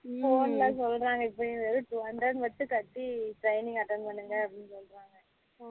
ஹம் phone ல சொல்லுறாங்க இப்போ two hundred மட்டும் கட்டி training attend பண்ணுங்க அப்படினு சொல்லுறாங்க